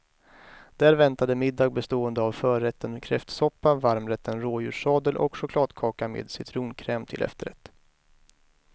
Där väntade middag bestående av förrätten kräftsoppa, varmrätten rådjurssadel och chokladkaka med citronkräm till efterrätt.